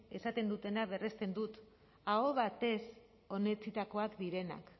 esaten dutena berresten dut aho batez onetsitakoak direnak